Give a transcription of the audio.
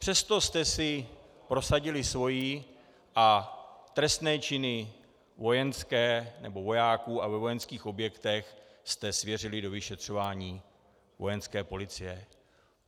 Přesto jste si prosadili své a trestné činy vojenské, nebo vojáků a ve vojenských objektech, jste svěřili do vyšetřování Vojenské policie.